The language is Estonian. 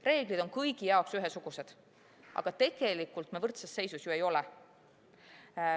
Reeglid on kõigi jaoks ühesugused, aga tegelikult me võrdses seisus ei ole.